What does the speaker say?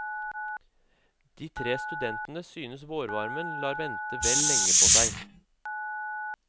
De tre studentene synes vårvarmen lar vente vel lenge på seg.